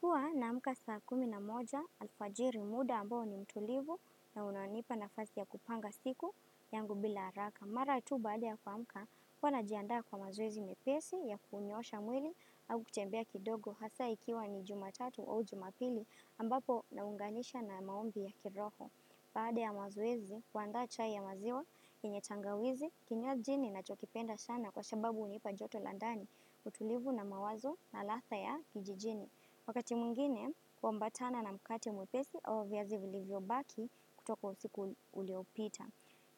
Huwa naamka saa kumi na moja, alfajiri muda ambao ni mtulivu na unaonipa nafasi ya kupanga siku yangu bila haraka. Mara tu baada ya kuamka, huwa najiandaa kwa mazoezi mepesi ya kunyoosha mwili au kutembea kidogo hasa ikiwa ni jumatatu au jumapili ambapo naunganisha na maombi ya kiroho. Baada ya mazoezi, huandaa chai ya maziwa, yenye tangawizi, kinywa ji ni na chokipenda sana kwa sababu unipa joto landa ni, utulivu na mawazo na latha ya kijijini. Wakati mwingine, huambatana na mkate mwepesi au viazi vili vyo baki kutoka usiku uliopita.